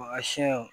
Wa siyɛn wo